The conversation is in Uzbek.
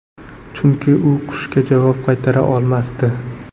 Chunki u qushga javob qaytara olmasdi.